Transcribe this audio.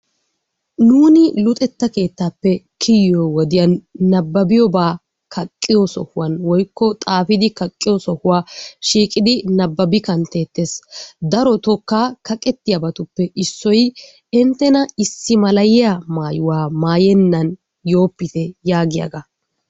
Nuuni luxetta keettaappe kiyiyo wodiyan nababbiyoobaa kaqqiyo so'uwaan woykko xaafidi kaqqiyo so'uwaa shiiqqidi nababi kanttetees. Darookka kaqqettiyabatuppe issoy inttena issimalayiyaa mayuwaa mayeenan yoopite yaagiyaagaa.